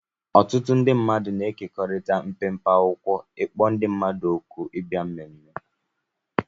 Ọtụtụ ndị mmadụ na-ekekọrịta mpempe akwụkwọ ịkpọ ndị mmadụ òkù ịbịa mmemme